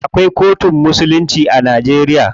Akwai kotun musulunci a Najeriya.